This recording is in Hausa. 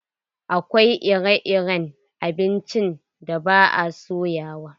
Akwai ire-iren abincin da ba a soyawa.